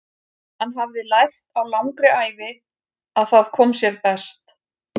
Hann hafði lært á langri ævi að það kom sér best.